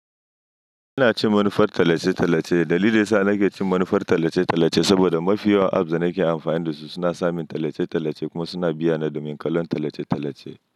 Ina cin manufar talace-talace. Dalili yasa na ke cin manufar talace-talace saboda mafi yawan apps da nake amfani dasu suna samin talace-talace kuma suna biya na domin kallon talace-talace.